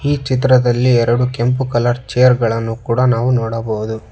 ಈ ಚಿತ್ರದಲ್ಲಿ ಎರಡು ಕೆಂಪು ಕಲರ್ ಚೇರ್ ಗಳನ್ನು ಕೂಡ ನಾವು ನೋಡಬಹುದು.